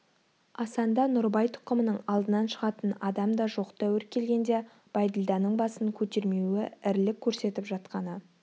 асанда нұрыбай тұқымының алдынан шығатын адам да жоқ тәуір келгенде бәйділданың басын көтермеуі ірілік көрсетіп жатқаны